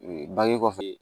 bange kɔfɛ